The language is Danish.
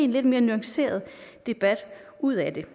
lidt mere nuanceret debat ud af det